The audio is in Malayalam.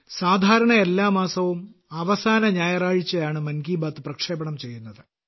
സാധാരണ എല്ലാ മാസവും അവസാന ഞായറാഴ്ചയാണ് മൻ കി ബാത്ത് പ്രക്ഷേപണം ചെയ്യുന്നത്